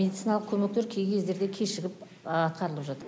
медициналық көмектер кей кездерде кешігіп атқарылып жатыр